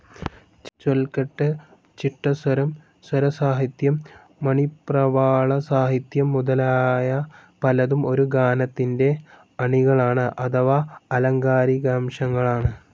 ചൊൽകെട്ട്, ചിട്ടസ്വരം, സ്വരസാഹിത്യം, മണിപ്രവാളസാഹിത്യം മുതലായ പലതും ഒരു ഗാനത്തിന്റെ അണികളാണ്, അഥവാ ആലങ്കാരികാംശങ്ങളാണ്.